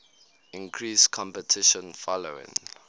increased competition following